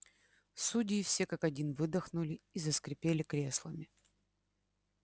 судьи все как один выдохнули и заскрипели креслами